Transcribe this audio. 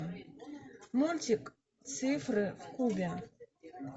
мультик цифры в кубе